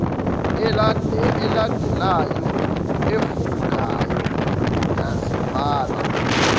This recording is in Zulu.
elandelayo ofungayo ngazibhala